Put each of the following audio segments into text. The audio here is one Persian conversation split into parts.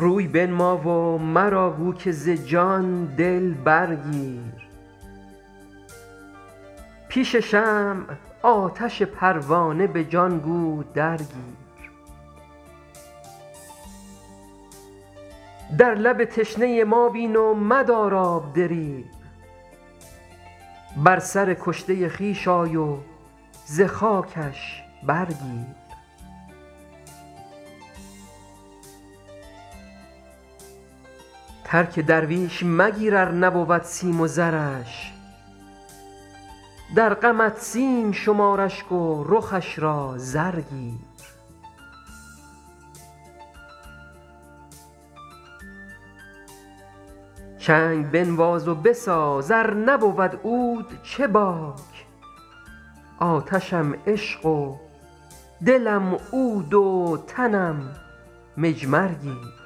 روی بنما و مرا گو که ز جان دل برگیر پیش شمع آتش پروانه به جان گو درگیر در لب تشنه ما بین و مدار آب دریغ بر سر کشته خویش آی و ز خاکش برگیر ترک درویش مگیر ار نبود سیم و زرش در غمت سیم شمار اشک و رخش را زر گیر چنگ بنواز و بساز ار نبود عود چه باک آتشم عشق و دلم عود و تنم مجمر گیر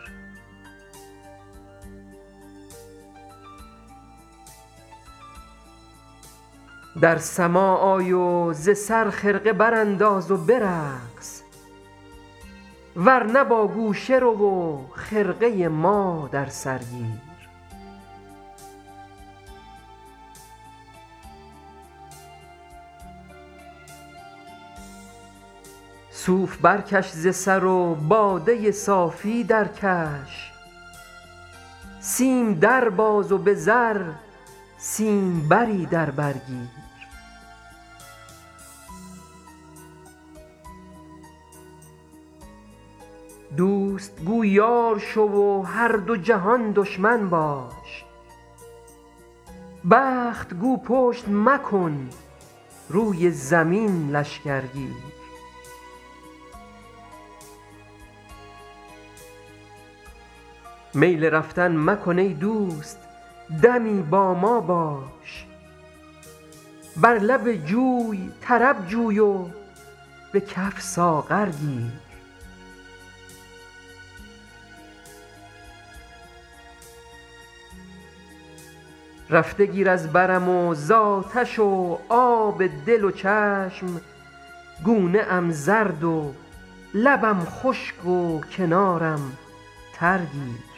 در سماع آی و ز سر خرقه برانداز و برقص ور نه با گوشه رو و خرقه ما در سر گیر صوف برکش ز سر و باده صافی درکش سیم در باز و به زر سیمبری در بر گیر دوست گو یار شو و هر دو جهان دشمن باش بخت گو پشت مکن روی زمین لشکر گیر میل رفتن مکن ای دوست دمی با ما باش بر لب جوی طرب جوی و به کف ساغر گیر رفته گیر از برم و زآتش و آب دل و چشم گونه ام زرد و لبم خشک و کنارم تر گیر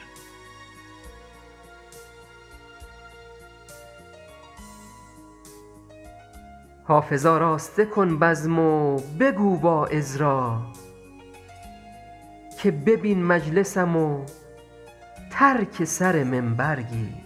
حافظ آراسته کن بزم و بگو واعظ را که ببین مجلسم و ترک سر منبر گیر